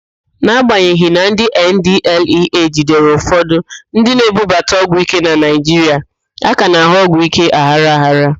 N'agbanyeghị na ndị NDLEA jidere ụfọdụ ndị na-ebubata ọgwụíké na Naịjiria, a ka na-ahụ ọgwụíké aghara aghara.